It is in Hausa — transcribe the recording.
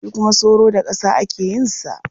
Shi kuma soro da ƙasa ake yin sa.